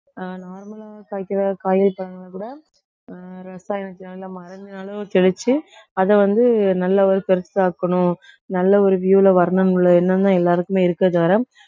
ஆஹ் normal லா காய்க்கற காய்கறி பழம்னாக்கூட ஆஹ் ரசாயனத்தை அளவு தெளிச்சு அதை வந்து நல்லா ஒரு பெருசா ஆக்கணும். நல்ல ஒரு view ல வரணும் உள்ள எண்ணம்தான் எல்லாருக்குமே இருக்கே தவிர